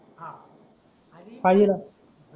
five lakh